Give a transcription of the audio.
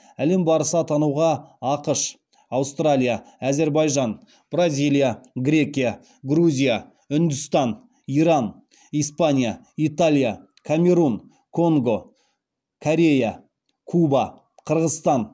әлем барысы атануға ақш аустралия әзербайжан бразилия грекия грузия үндістан иран испания италия камерун конго корея куба қырғызстан